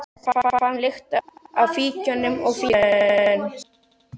Hann fann lykt af fíkjunum og fýldi grön.